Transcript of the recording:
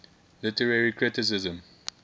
literary criticism